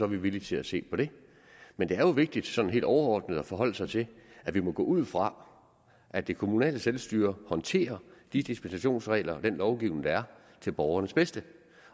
vi villige til at se på det men det er jo vigtigt sådan helt overordnet at forholde sig til at vi må gå ud fra at det kommunale selvstyre håndterer de dispensationsregler og den lovgivning der er til borgernes bedste